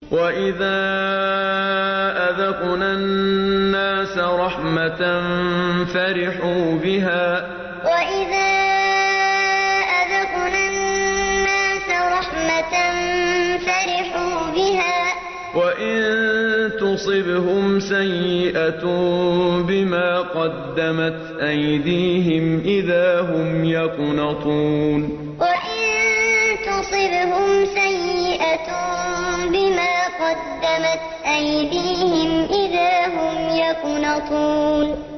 وَإِذَا أَذَقْنَا النَّاسَ رَحْمَةً فَرِحُوا بِهَا ۖ وَإِن تُصِبْهُمْ سَيِّئَةٌ بِمَا قَدَّمَتْ أَيْدِيهِمْ إِذَا هُمْ يَقْنَطُونَ وَإِذَا أَذَقْنَا النَّاسَ رَحْمَةً فَرِحُوا بِهَا ۖ وَإِن تُصِبْهُمْ سَيِّئَةٌ بِمَا قَدَّمَتْ أَيْدِيهِمْ إِذَا هُمْ يَقْنَطُونَ